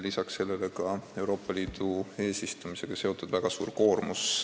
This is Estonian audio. Lisaks sellele oli Euroopa Liidu eesistumisega seotud väga suur koormus.